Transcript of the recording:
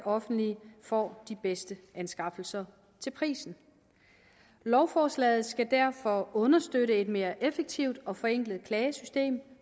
offentlige får de bedste anskaffelser til prisen lovforslaget skal derfor understøtte et mere effektivt og forenklet klagesystem